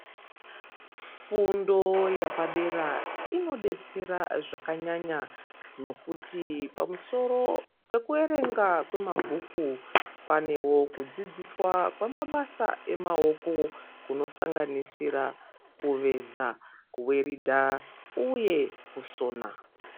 Fundo yapadera inodetsera zvakanyanya, nokuti pamusoro pekuerenga kwomabhuku ,panewo kudzidziswa kwamabasa amaoko, kunosanganisira kuveza ,kuweridha, uye kusona.